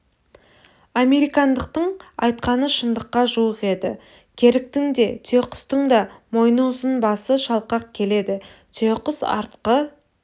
американдықтың айтқаны шындыққа жуық еді керіктің де түйеқұстың да мойны ұзын басы шалқақ келеді түйеқұс артқы